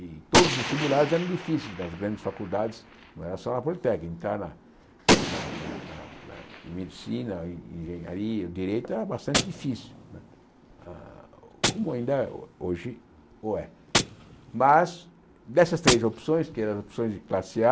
E todos os vestibulares eram difíceis nas grandes faculdades, não era só na Politécnica, na na na na na Medicina, Engenharia, Direito era bastante difícil, hã como ainda hoje o é. Mas, dessas três opções, que eram as opções de classe á,